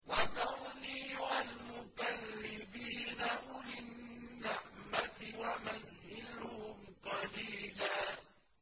وَذَرْنِي وَالْمُكَذِّبِينَ أُولِي النَّعْمَةِ وَمَهِّلْهُمْ قَلِيلًا